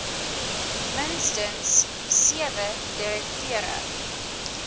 minstens sewe direkteure